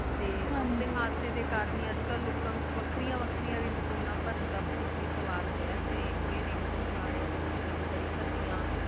ਤੇ ਡੇ ਕਰਨ ਹੈ ਲੋਕਾਂ ਵਿਚ ਵੱਖਰੀਆਂ ਵੱਖਰੀਆਂ ਰਿੰਗਟੋਣਾ ਬਹਾਰਾਂ ਦਾ ਬਹੁਤ ਵੇ ਸਵਾਰ ਹੋਇਆ ਆਏ ਤੇ ਕੋਈ ਰਿੰਗ ਤੋਨੇ ਗਾਣੇ ਡੇ ਰੂਪ ਵਿਚ ਬੜੀ ਪੁੜੀਆਂ